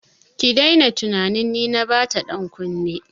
Ki daina tunanin ni na bata dankunne!